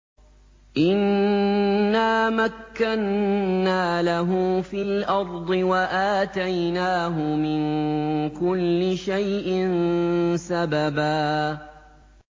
إِنَّا مَكَّنَّا لَهُ فِي الْأَرْضِ وَآتَيْنَاهُ مِن كُلِّ شَيْءٍ سَبَبًا